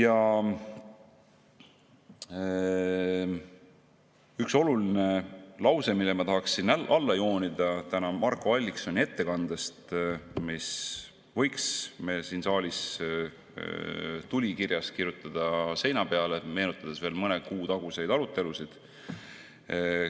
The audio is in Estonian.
On üks oluline lause, mille ma tahaksin Marko Alliksoni ettekandest alla joonida ja mille me võiks siin saalis kirjutada tulikirjas seina peale, meenutades veel mõne kuu taguseid arutelusid.